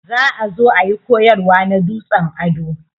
Za ã zo ã yi koyarwa na dutsen ado.